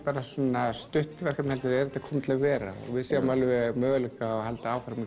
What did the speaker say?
stutt verkefni heldur komið til að vera og við sjáum möguleika á að halda áfram að